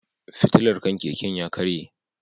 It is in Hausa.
Fitilar kan keken ya karye.